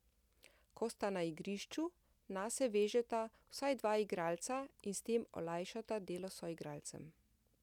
Ko sta na igrišču, nase vežeta vsaj dva igralca in s tem olajšata delo soigralcem.